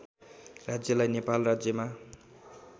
राज्यलाई नेपाल राज्यमा